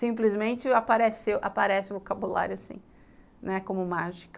Simplesmente apareceu aparece o vocabulário assim, como mágica.